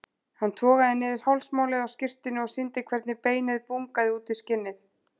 Hann togaði niður hálsmálið á skyrtunni og sýndi hvernig beinið bungaði út í skinnið.